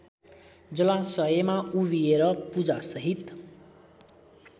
जलाशयमा उभिएर पूजासहित